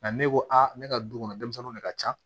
Nka ne ko a ne ka du kɔnɔ denmisɛnninw de ka ca